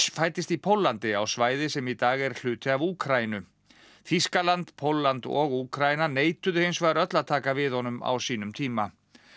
fæddist í Póllandi á svæði sem í dag er hluti af Úkraínu Þýskaland Pólland og Úkraína neituðu hins vegar öll að taka við honum á sínum tíma